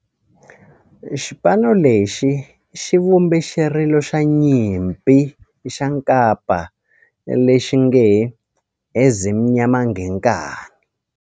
Xipano lexi xi vumbe xirilo xa nyimpi xa kampa lexi nge 'Ezimnyama Ngenkani'.